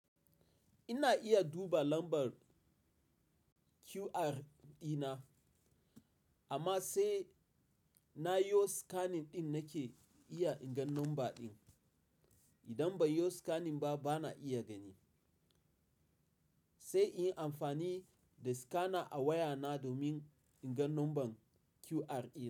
Ina iya duba lambar QR dina amma sai na yo scanning ɗin nake iya inga number ɗin. Idan ban yo scanning ba, bana iya gani. Sai in yi amfani da scanner a wayana domin inga number QR ɗin.